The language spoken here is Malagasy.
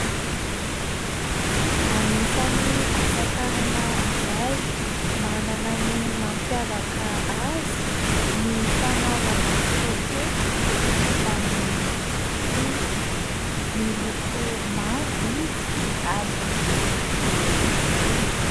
Anisan'ny asatanana iray manana ny mampiavaka azy ny fanaovana poketra vita amin'ny rofia miloko mavo izy ary lehibe tokoa.